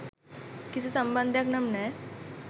කිසි සම්බන්ධයක් නම් නෑ.